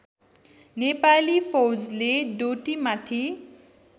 नेपाली फौजले डोटीमाथि